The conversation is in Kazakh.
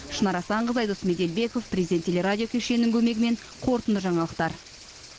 шынар асанқызы айдос меделбеков президент телерадио кешенінің көмегімен қорытынды жаңалықтар